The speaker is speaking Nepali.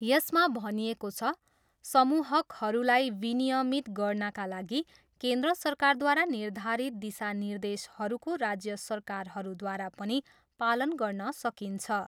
यसमा भनिएको छ, समूहकहरूलाई विनियमित गर्नाका लागि केन्द्र सरकारद्वारा निर्धारित दिशा निर्देशहरूको राज्य सरकारहरूद्वारा पनि पालन गर्न सकिन्छ।